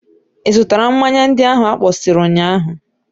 Ị zụtara mmanya ndị ahụ akpọsịrị ụnyaahụ?